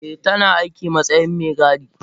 Eh tana aiki matsayin Megadi.